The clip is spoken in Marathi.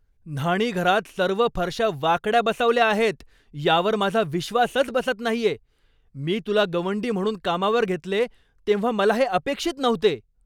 न्हाणीघरात सर्व फरशा वाकड्या बसवल्या आहेत यावर माझा विश्वासच बसत नाहीये! मी तुला गवंडी म्हणून कामावर घेतले तेव्हा मला हे अपेक्षित नव्हते.